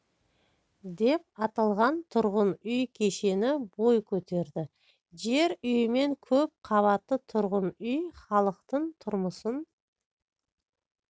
деп аталған тұрғын үй кешені бой көтерді жер үймен көп қабатты тұрғын үй халықтың тұрмысын